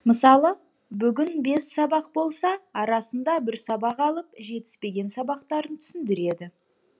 мысалы бүгін бес сабақ болса арасында бір сабақ алып жетіспеген сабақтарын түсіндіреді